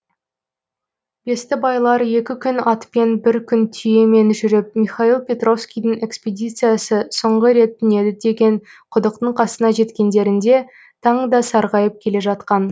бестібайлар екі күн атпен бір күн түйемен жүріп михаил петровскийдің экспедициясы соңғы рет түнеді деген құдықтың қасына жеткендерінде таң да сарғайып келе жатқан